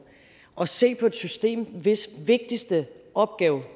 at se på et system hvis vigtigste opgave